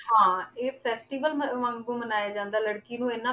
ਹਾਂ ਇਹ festival ਮ~ ਵਾਂਗੂ ਮਨਾਇਆ ਜਾਂਦਾ ਲੜਕੀ ਨੂੰ ਇੰਨਾ